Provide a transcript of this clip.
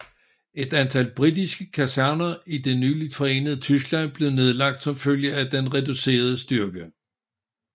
Et antal britiske kaserner i det nyligt forenede Tyskland blev nedlagt som følge af den reducerede styrke